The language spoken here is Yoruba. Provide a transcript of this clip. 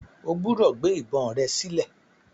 O gbúdọ̀ gbé ìbọn rẹ sílẹ̀.